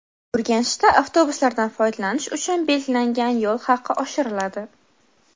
Urganchda avtobuslardan foydalanish uchun belgilangan yo‘l haqi oshiriladi.